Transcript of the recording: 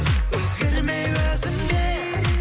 өзгермей өзімде